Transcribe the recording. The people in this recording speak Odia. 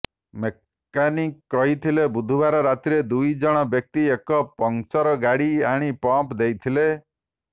ମେକାନିକ କହିଥିଲେ ବୁଧବାର ରାତିରେ ଦୁଇ ଜଣ ବ୍ୟକ୍ତି ଏକ ପଙ୍କଚର ଗାଡି ଆଣି ପମ୍ପ ଦେଇଥିିଲେ